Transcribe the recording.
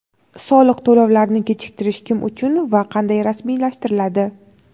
Soliq to‘lovlarini kechiktirish kim uchun va qanday rasmiylashtiriladi?.